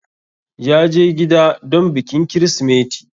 ya je gida don bikin krismeti